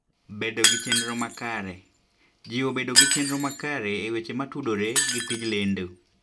Bedo gi Chenro Makare: Jiwo bedo gi chenro makare e weche motudore gi tij lendo.